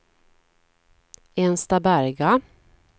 Enstaberga